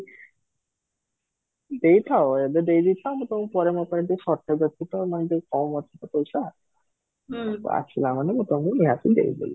ଦେଇଥାଅ ଏବେ ଦେଇଦେଇ ଥାଅ, ମୁଁ ତମକୁ ପରେ ଏବେ shortage ଅଛି ମାନେ ଟିକେ କମ ଅଛି ଟିକେ ପଇସା ଆସିଲା ମାନେ ମୁଁ ତମକୁ ନିହାତି ଦେଇ ଦେବି